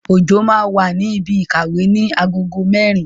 Ojo máa wà ní ibi ìkàwé ní agogo mẹ́rin